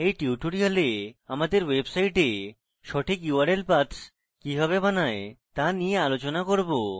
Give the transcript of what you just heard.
in tutorial আমাদের website সঠিক url paths কিভাবে বানায় তা নিয়ে আলোচনা করব